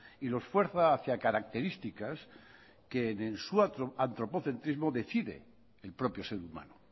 y los fuerza hacia características que de su antropocentrismo decide el propio ser humano